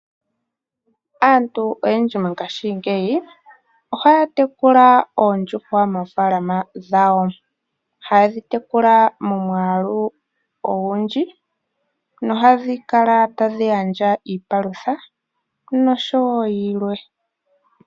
Aantu oyendji mo ngaashingeyi ohaya tekula oondjuhwa moofalama dhawo. Haye dhi tekula momwalu ogundji nohadhi kala tadhi gandja iipalutha nosho wo yilwe.